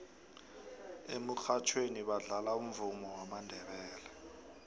emurhatjhweni badlala umvumo wamandebele